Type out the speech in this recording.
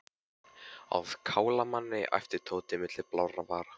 Á að kála manni æpti Tóti milli blárra vara.